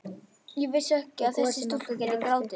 Ég vissi ekki að þessi stúlka gæti grátið.